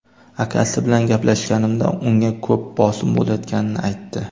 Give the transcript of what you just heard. Akasi bilan gaplashganimda unga ko‘p bosim bo‘layotganini aytdi.